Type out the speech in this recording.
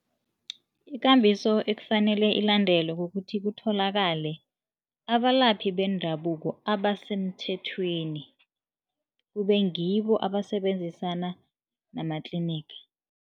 Ikambiso ekufanele ilandelwe kukuthi kutholakale abalaphi bendabuko abasemthethweni kube ngibo abasebenzisana nama-clinic.